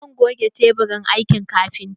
Zan goge teburin aikin kafintan